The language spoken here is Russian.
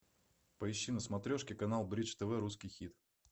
поищи на смотрешке канал бридж тв русский хит